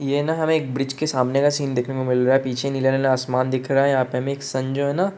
ये न हमें एक ब्रीज के सामने का सीन देखने को मिल रहा है। पीछे नीला-नीला आसमान दिख रहा है। यहाँ पे हमें एक सन जो है न --